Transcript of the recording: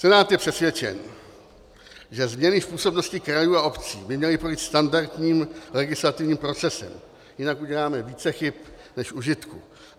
Senát je přesvědčen, že změny v působnosti krajů a obcí by měly projít standardním legislativním procesem, jinak uděláme více chyb než užitku.